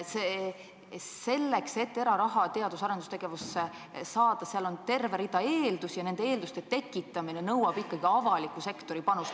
Nii et selleks, et eraraha teadus- ja arendustegevusse saada, on terve rida eeldusi ja nende eelduste tekitamine nõuab ikkagi avaliku sektori panust.